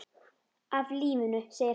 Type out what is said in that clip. Af lífinu, segir hann.